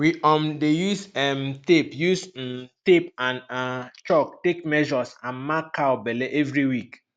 we um dey use um tape use um tape and um chalk take measures and mark cow belle every week